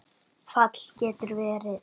Fall getur verið